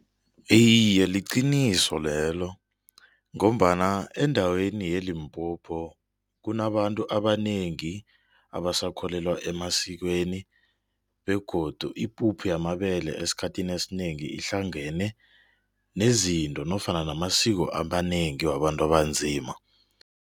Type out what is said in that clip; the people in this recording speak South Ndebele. Iye, liqiniso lelo ngombana endaweni yeLimpopo kunabantu abanengi abasakholelwa emasikweni begodu ipuphu yamabele esikhathini esinengi ihlangene nezinto nofana namasiko amanengi wabantu abanzima.